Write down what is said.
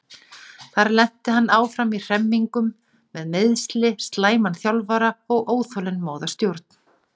Þar lenti hann áfram í hremmingum með meiðsli, slæman þjálfara og óþolinmóða stjórn.